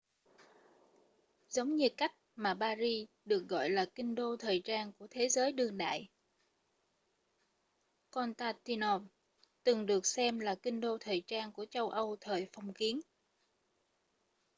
giống như cách mà paris được gọi là kinh đô thời trang của thế giới đương đại constantinople từng được xem là kinh đô thời trang của châu âu thời phong kiến